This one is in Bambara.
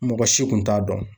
Mɔgɔ si kun t'a dɔn.